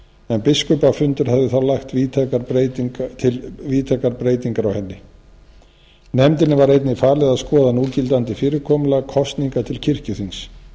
en biskupafundur hafði þá lagt til víðtækar breytingar á henni nefndinni var einnig falið að skoða núgildandi fyrirkomulag kosninga til kirkjuþings